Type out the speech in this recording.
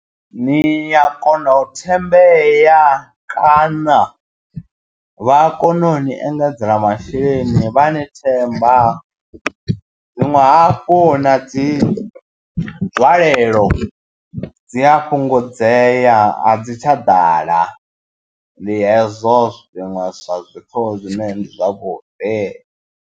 Ni ya kona u thembea kana vha kona uni engedzela masheleni vha ni themba, zwinwe hafhu na dzi dzi nzwalelo dzi a fhungudzea a dzi tsha ḓala ndi hezwo zwiṅwe zwa zwithu zwine ndi zwavhuḓi.